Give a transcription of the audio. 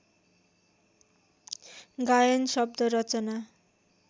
गायन शव्द रचना